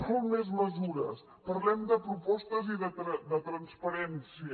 vol més mesures parlem de propostes i de transparència